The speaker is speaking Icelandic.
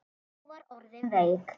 Hún var orðin veik.